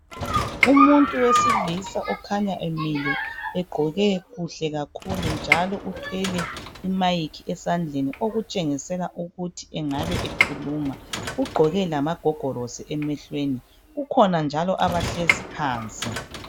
Umuntu wesilisa okhanya emile egqoke kuhle kakhulu njalo uthwele imayikhi esandleni okutshengisela ukuthi engabe ekhuluma. Ugqoke lamagogorosi emehlweni. Kukhona njalo abahlezi phansi.